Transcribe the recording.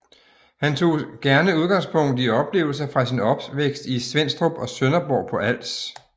Han tog gerne udgangspunkt i oplevelser fra sin opvækst i Svenstrup og Sønderborg på Als